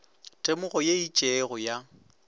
temogo ye e itšego ya